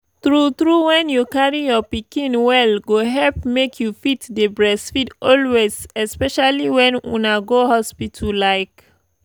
true true when you carry your pikin well go help make you fit dey breastfeed always especially when una go hospital like